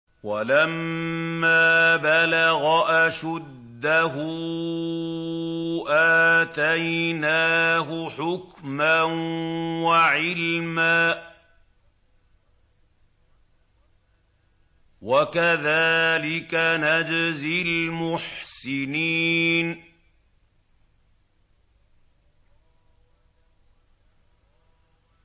وَلَمَّا بَلَغَ أَشُدَّهُ آتَيْنَاهُ حُكْمًا وَعِلْمًا ۚ وَكَذَٰلِكَ نَجْزِي الْمُحْسِنِينَ